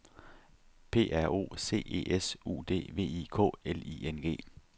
P R O C E S U D V I K L I N G